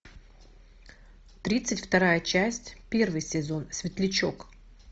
тридцать вторая часть первый сезон светлячок